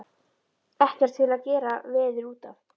Ekkert til að gera veður út af.